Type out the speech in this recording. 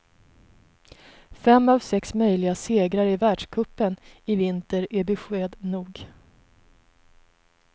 Fem av sex möjliga segrar i världscupen i vinter är besked nog.